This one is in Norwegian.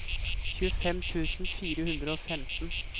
tjuefem tusen fire hundre og femten